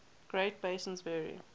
great basins vary